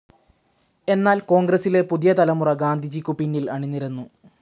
എന്നാൽ കോൺഗ്രസ്സിലെ പുതിയ തലമുറ ഗാന്ധിജിക്കു പിന്നിൽ അണിനിരന്നു.